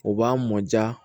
O b'a mɔ ja